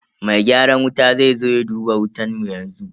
Mai gyaran wuta zai zo ya duba wutan mu yanzu.